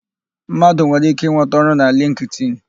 Mmadụ nwere íké ịnweta ọrụ na lịnktịn.